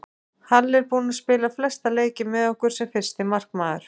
Halli er búinn að spila flesta leiki með okkur sem fyrsti markmaður.